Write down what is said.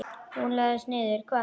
Og hún leggst niður.